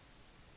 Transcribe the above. forlatt byen